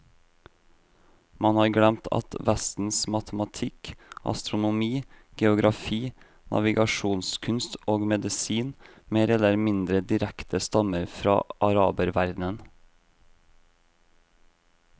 Man har glemt at vestens matematikk, astronomi, geografi, navigasjonskunst og medisin mer eller mindre direkte stammer fra araberverdenen.